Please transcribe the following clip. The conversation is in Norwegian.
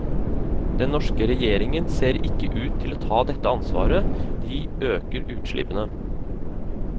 Den norske regjeringen ser ikke ut til å ta dette ansvaret, de øker utslippene.